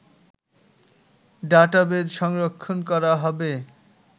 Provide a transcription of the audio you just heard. database সংরক্ষণ করা হবে